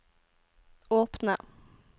åpne